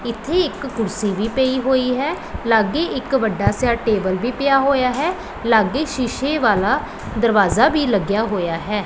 ਇੱਥੇ ਇੱਕ ਕੁਰਸੀ ਵੀ ਪਈ ਹੋਈ ਹੈ ਲਾਗੇ ਇੱਕ ਵੱਡਾ ਜਿਆ ਟੇਬਲ ਵੀ ਪਿਆ ਹੋਇਆ ਹੈ ਲਾਗੇ ਸ਼ੀਸ਼ੇ ਵਾਲਾ ਦਰਵਾਜ਼ਾ ਵੀ ਲੱਗਿਆ ਹੋਇਆ ਹੈ।